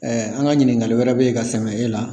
an ka ɲininkali wɛrɛ bɛ yen ka sɛmɛ e la